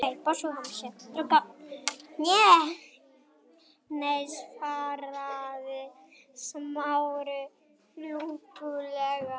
Nei- svaraði Smári lúpulega.